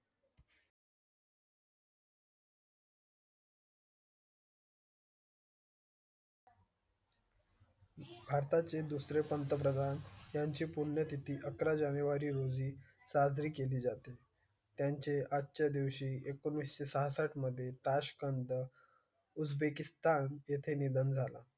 भारता चे दुसरे पंतप्रधान यांची पुण्यतिथी अकरा जानेवारी रोजी साजरी केली जाते. त्यांचे आजच्या दिवशी एकोणीसशे सहास आठ मध्ये ताश्कंद. उझबेकिस्तान येथे निधन झालं.